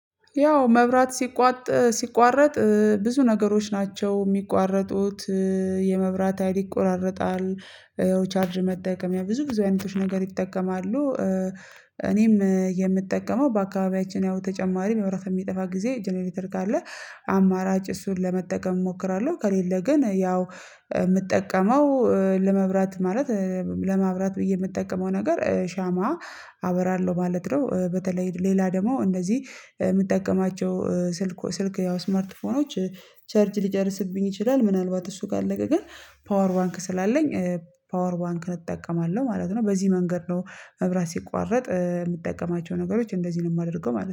ያው መብራት ሲቋረጥ ብዙ ነገሮች ናቸው የሚቋረጡት የመብራት ሀይል ይቆራራጣል። ያው ቻርጅ መጠቀም ያው ብዙ ብዙ አይነቶች ነገር ይጠቀማሉ። እኔም የምጠቀመው በአካባቢያችን ያው ተጨማሪ መብራት የሚጠፋ ጊዜ ጀነሬተር ካለ አማራጭ እሱን ለመጠቀም እሞክራለሁ። ከሌለ ግን ያው የምጠቀመው ለመብራት ማለት ለማብራት ብዬ የምጠቀመው ነገር ሻማ አበራለሁ ማለት ነው። በተለይ ሌላ ደግሞ እንደዚህ የምጠቀማቸው ስልኮች ስልክ ያው ስማርት ፎኖች ቸርጅ ሊጨርስብኝ ይችላል። ምናልባት እሱ ጋር ከለቀ ግን ፓወር ባንክ ስላለኝ ፓወር ባንክን እጠቀማለሁ ማለት ነው። በዚህ መንገድ ነው መብራት ሲቋረጥ የምጠቀማቸው ነገሮች እንደዚህ ነው የማደርገው ማለት ነው